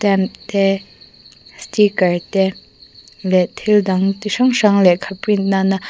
te sticker te leh thil dang ti hrang hrang lehkha print nana--